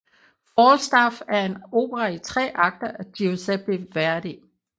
Falstaff er en opera i tre akter af Giuseppe Verdi